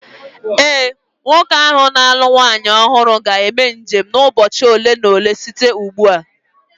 Ee, nwoke ahụ na-alụ nwaanyị ọhụrụ ga-eme njem n’ime ụbọchị ole na ole site ugbu a